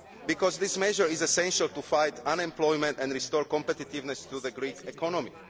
why? Because this measure is essential to fight unemployment and restore competitiveness to the Greek economy.